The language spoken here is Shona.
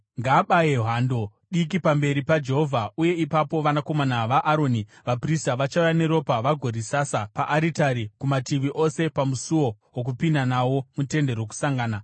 Ngaabaye hando diki pamberi paJehovha uye ipapo vanakomana vaAroni vaprista vachauya neropa vagorisasa paaritari kumativi ose pamusuo wokupinda nawo muTende Rokusangana.